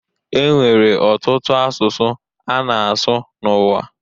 E nwere ọtụtụ asụsụ a na-asụ n'ụwa